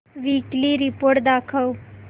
weekly report दाखव